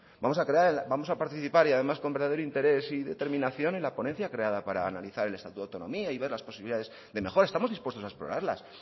vamos a participar y además con verdadero interés y determinación en la ponencia creada para analizar el estatuto de autonomía y ver las posibilidades de mejora estamos dispuestos a explorarlas